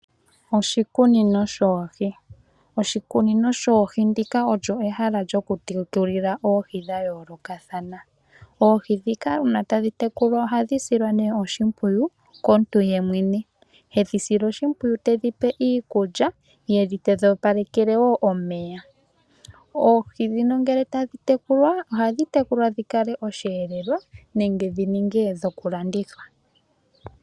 Oshikunino shoohi, Oshikunino shoohi ndika olyo ehala lyoku tekulila oohi dhayoolokathana. Oohi dhika una tadhi tekulwa ohadhi silwa nee oshimpwiyu komuntu yemwene. Hedhi sile oshimpwiyu tedhi pe iikulya ye tedhi opalekele wo omeya. Oohi dhino ngele tadhi tekulwa ohadhi tekulwa dhi kale osheelelwa nenge dhi ninge dhoku landithwa.